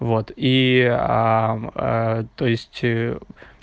вот и то есть